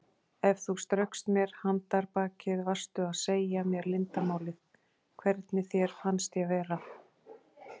Ef þú straukst mér handarbakið varstu að segja mér leyndarmálið: hvernig þér fannst ég vera.